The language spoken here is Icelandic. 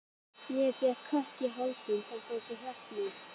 Ég fékk kökk í hálsinn, þetta var svo hjartnæmt.